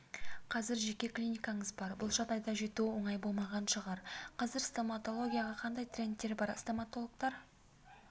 қазір жеке клиникаңыз бар бұл жағдайға жету оңай болмаған шығар қазір стоматологияда қандай трендтер бар стоматологтар